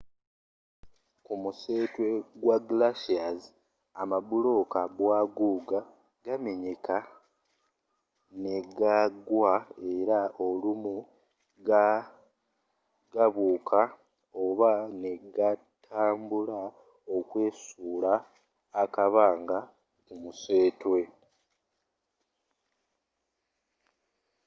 ku museetwe gwa glaciers amabulooka bwaguuga gamenyeka negagwa era olumu gabuuka oba negatambula okwesuula akabanga ku museetwe